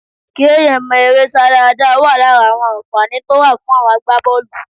kí èèyàn mọ eré sá dáadáa wà lára àwọn ànfàní tó wà fún àwọn agbábọ̀ọ̀lù